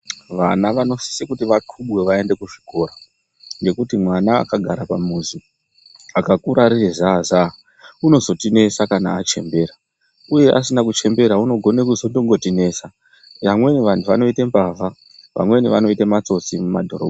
Vana vanosise kuti vakhubwe vaende kuzvikora ngekuti mwana akagara pamuzi akakura riri zaa zaa unozotinesa kana achembera uye asina kuchembera unogona kuzongotinesa. Vamweni vanoite mbavha vamweni vanoite matsotsi mumadhorobha.